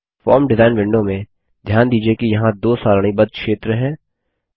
form design window में ध्यान दीजिये कि यहाँ दो सारणीबद्ध क्षेत्र हैं